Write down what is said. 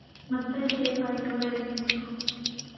ಮತ್ತೆ safe ಆಗಿ ಕೂಡ ಇರತೈತೆ.